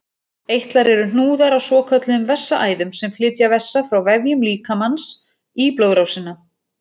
Eitlar eru hnúðar á svokölluðum vessaæðum sem flytja vessa frá vefjum líkamans í blóðrásina.